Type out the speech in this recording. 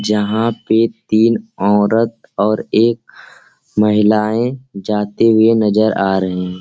जहाँ पे तीन औरत और एक महिलाएं जाते हुए नजर आ रहे।